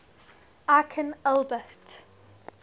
aikin albert